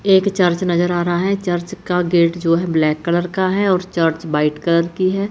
एक चर्च नजर आ रहा है चर्च का गेट जो है ब्लैक कलर का है और चर्च व्हाइट कलर की है।